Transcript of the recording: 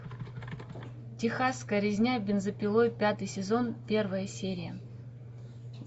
техасская резня бензопилой пятый сезон первая серия